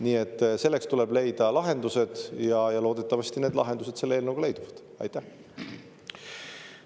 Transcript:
Nii et meil tuleb leida lahendused ja loodetavasti need lahendused selle eelnõu kohaselt.